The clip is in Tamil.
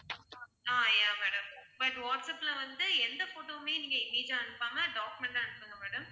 ஆஹ் yeah madam, but வாட்ஸ்அப்ல வந்து எந்த photo வுமே நீங்க image ஆ அனுப்பாம document ல அனுப்புங்க madam